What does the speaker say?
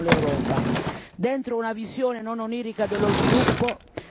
Dunque siamo alla vigilia di grandi scelte che interessano l'Europa.